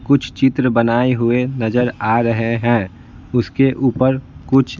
कुछ चित्र बनाए हुए नजर आ रहे हैं उसके ऊपर कुछ--